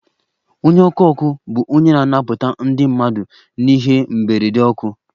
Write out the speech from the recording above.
Onye ọkụ ọkụ bụ onye na-anapụta ndị mmadụ n'ihe mberede ọkụ